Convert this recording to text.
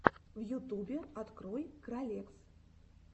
в ютубе открой кралекс